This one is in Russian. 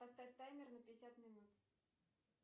поставь таймер на пятьдесят минут